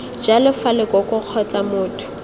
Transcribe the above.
jalo fa lekoko kgotsa motho